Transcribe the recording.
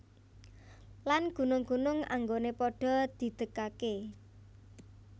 Lan gunung gunung anggoné padha didegaké